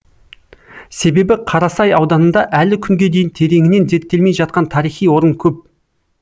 себебі қарасай ауданында әлі күнге дейін тереңінен зерттелмей жатқан тарихи орын көп